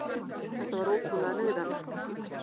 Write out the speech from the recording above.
Þetta var ótrúlega neyðarlegt.